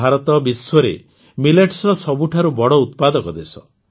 ଭାରତ ବିଶ୍ୱରେ ମିଲେଟ୍ସର ସବୁଠୁ ବଡ଼ ଉତ୍ପାଦକ ଦେଶ